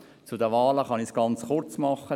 Zu den Wahlen kann ich es ganz kurz machen: